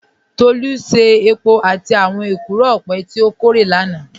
Tolu ṣe èpò látì àwọn èkúró ọpẹ̀ tí o kòrè lánà